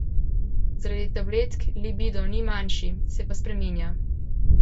Zaradi tabletk libido ni manjši, se pa spreminja.